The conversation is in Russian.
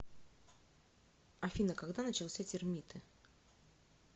афина когда начался термиты